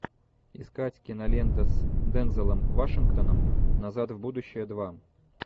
искать кинолента с дензелом вашингтоном назад в будущее два